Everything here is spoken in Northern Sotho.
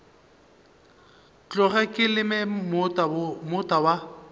tloge ke leme moota wa